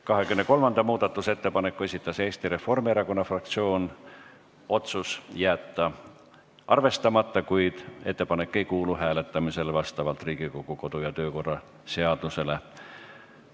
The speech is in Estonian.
23. muudatusettepaneku esitas Eesti Reformierakonna fraktsioon, otsus on jätta arvestamata, kuid ettepanek ei kuulu hääletamisele vastavalt Riigikogu kodu- ja töökorra seadusele.